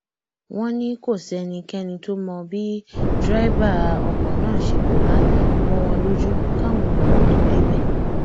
wọn ní kò sẹnikẹni tó mọ bí dẹrẹbà ọkọ náà ṣe pòórá mọ wọn lójú káwọn èrò tóo débẹ